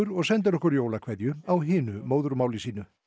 og sendir okkur jólakveðju á hinu móðurmáli sínu